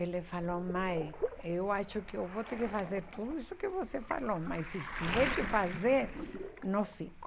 Ele falou, mãe, eu acho que eu vou ter que fazer tudo isso que você falou, mas se tiver que fazer, não fico.